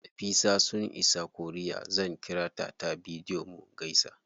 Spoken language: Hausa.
Nafisa sun isa korea, zan ƙirata ta bidiyo mu gaisa.